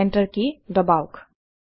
enter কি দবাওক